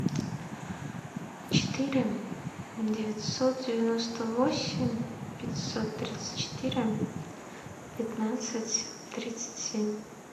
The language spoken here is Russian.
четыре девятьсот девяносто восемь пятьсот тридцать четыре пятнадцать тридцать семь